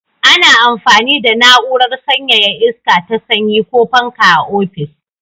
Ana amfani da na'urar sanyaya iska ta sanyi ko fanka a ofis.